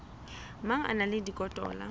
mang a na le dikotola